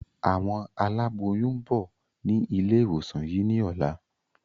Àwọn aláboyún ń bọ̀ ni ilé ìwòsàn yìí ni ọ̀la.